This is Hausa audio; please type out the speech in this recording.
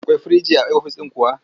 Akwai firinji a ofis ɗin kuwa?